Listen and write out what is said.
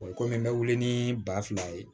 kɔmi n bɛ wili ni ba fila ye